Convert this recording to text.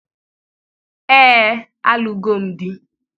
Ee, a lụgo m di